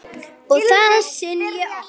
Og það skynji okkur.